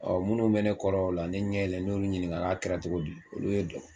minnu bɛ ne kɔrɔ o la ne ɲɛ yɛlɛnen ne y'olu ɲiniga , n k'a kɛra cogo di ? olu ye dɔ